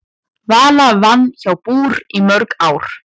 Vala vann hjá BÚR í mörg ár.